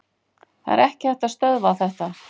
Það er ekki hægt að stöðva þetta.